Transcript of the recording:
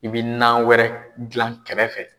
I bɛ nan wɛrɛ dilan kɛrɛfɛ.